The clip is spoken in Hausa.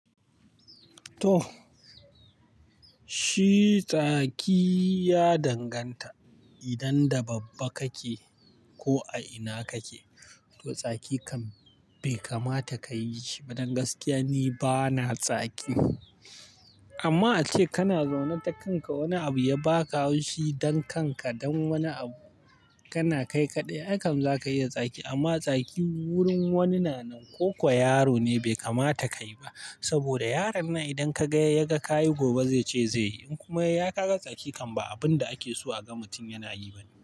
To, shi tsaki ya danganta idan da babba kake ko a ina kake, to tsaki kam bai kamata kayi shi ba. Don gaskiya ni bana tsaki amma ace kana zaune takanka wani abu ya baka haushi don kanka, don wani abu kana kai kaɗai, aikam zaka iya tsakin. Amma tsaki wurin wanina nan ko kwa yaro ne bai kamata kayi ba. Saboda yaron nan idan ka gaya ya ga ka yi, gobe zece zai yi. In kuma ya ka ga tsaki kan ba abun da ake so aga mutum yana yi bane.